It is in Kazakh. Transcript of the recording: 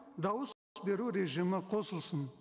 дауыс беру режимі қосылсын